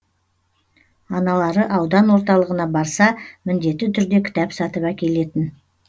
аналары аудан орталығына барса міндетті түрде кітап сатып әкелетін